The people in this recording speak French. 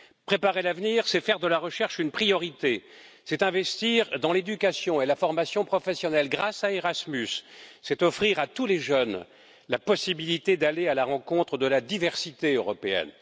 Préparer l'avenir, c'est faire de la recherche une priorité, c'est investir dans l'éducation et la formation professionnelle grâce à Erasmus, c'est offrir à tous les jeunes la possibilité d'aller à la rencontre de la diversité européenne.